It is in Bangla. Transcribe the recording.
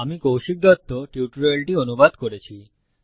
আমি কৌশিক দত্ত টিউটোরিয়ালটি অনুবাদ করেছি